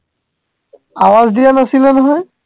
আৱাজ দিয়া নাছিলা নহয়